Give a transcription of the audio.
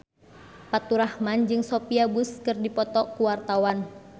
Faturrahman jeung Sophia Bush keur dipoto ku wartawan